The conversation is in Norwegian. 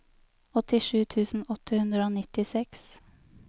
åttisju tusen åtte hundre og nittiseks